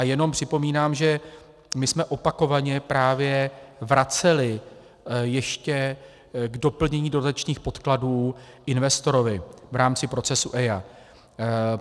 A jenom připomínám, že my jsme opakovaně právě vraceli ještě k doplnění dodatečných podkladů investorovi v rámci procesu EIA.